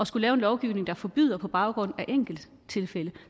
skulle lave en lovgivning der forbyder på baggrund af enkelttilfælde